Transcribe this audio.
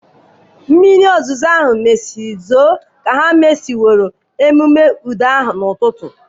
Mmiri ozuzo mesịrị zoo ka ha mesịworo ememe udo ahụ ọtụtụ ụbọchị.